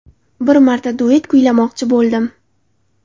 Bir marta duet kuylamoqchi bo‘ldim.